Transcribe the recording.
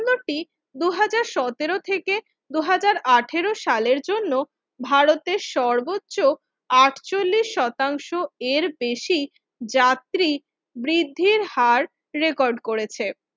বিমানবন্দরটি দুই হাজার সতেরো থেকে দুই হাজার আঠারো সালের জন্য ভারতের সর্বোচ্চ আটচল্লিশ শতাংশ এর বেশি যাত্রী বৃদ্ধির হার রেকর্ড করেছে